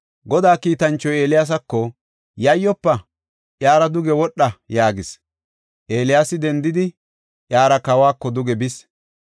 Godaa kiitanchoy Eeliyaasako, “Yayyofa! Iyara duge wodha” yaagis. Eeliyaasi dendidi, iyara kawako duge bis.